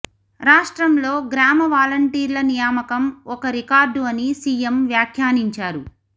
రాష్ట్రంలో గ్రామ వాలంటీర్ల నియామకం ఒక రికార్డు అని సీఎం వ్యాఖ్యానించారు